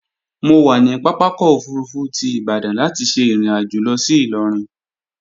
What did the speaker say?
Mo wà ní pápákọ̀ òfurufú ti Ìbadan láti ṣe ìrìnàjò lọ sí Ìlọrin